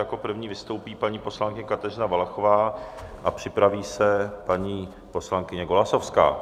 Jako první vystoupí paní poslankyně Kateřina Valachová a připraví se paní poslankyně Golasowská.